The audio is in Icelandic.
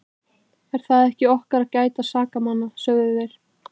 Ekki er það okkar að gæta sakamanna, sögðu þeir.